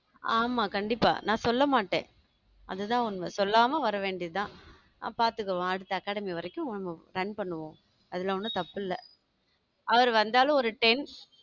ஆமா கண்டிப்பா நான் சொல்ல மாட்டேன் அதுதான் உண்மை சொல்லாம வரவேண்டியதுதான் ஆ பார்த்துக்கோ அடுத்த academy வரைக்கும் plan பண்ணுவோம் அதுல ஒண்ணும் தப்பு இல்லை அவர் வந்தாலும் ஒரு ten